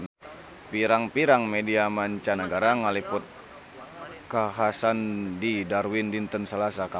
Pirang-pirang media mancanagara ngaliput kakhasan di Darwin dinten Salasa kamari